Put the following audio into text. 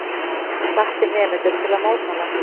Hvatti nemendur til að mótmæla